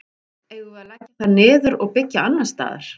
Eigum við að leggja það niður og byggja annars staðar?